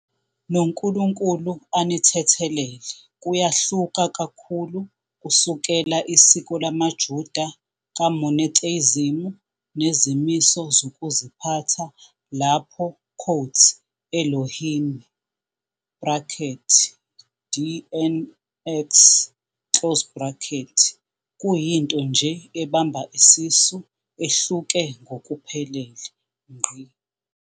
noNkulunkulu anithethelela kuyahluka kakhulu kusukela isiko lamaJuda ka monotheism nezimiso zokuziphatha lapho "elohimi" kuyinto nje ebamba isisu ehluke ngokuphelele.